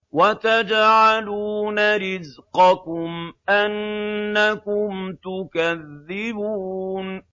وَتَجْعَلُونَ رِزْقَكُمْ أَنَّكُمْ تُكَذِّبُونَ